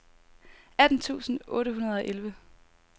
atten tusind otte hundrede og elleve